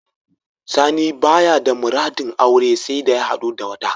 Sani baya da muradin aure saida ya hadu da wata.